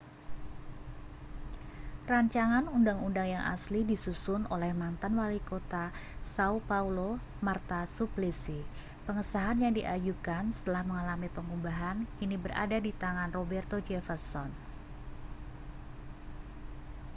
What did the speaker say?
rancangan undang-undang yang asli disusun oleh mantan walikota sã£o paulo marta suplicy. pengesahan yang diajukan setelah mengalami pengubahan kini berada di tangan roberto jefferson